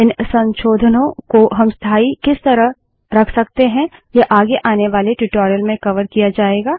इन संशोधनों को हम स्थाई किस तरह रख सकते हैं यह आगे आने वाले ट्यूटोरियल में कवर किया जायेगा